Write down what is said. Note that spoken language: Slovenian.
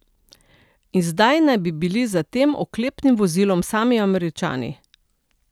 In zdaj naj bi bili za tem oklepnim vozilom sami Američani?